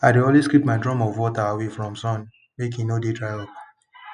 i dey always keep my drum of water away from sun make e no dey dry up